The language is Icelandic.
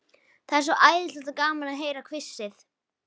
Það er svo æðislega gaman að heyra hvissið.